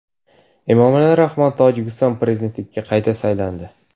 Emomali Rahmon Tojikiston Prezidentligiga qayta saylandi.